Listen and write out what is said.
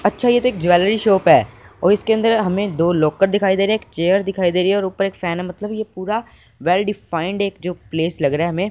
अच्छा ये तो एक देख ज्वेलरी शॉप है और इसके अंदर हमें दो लॉकर दिखाई दे रहे हैं चेयर दिखाई दे रही है और ऊपर फैन है मतलब ये पूरा वेल डिफाइंड एक जो प्लेस लग रहा है हमें।